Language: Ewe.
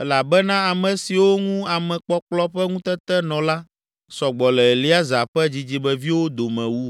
elabena ame siwo ŋu amekpɔkplɔ ƒe ŋutete nɔ la, sɔ gbɔ le Eleazar ƒe dzidzimeviwo dome wu.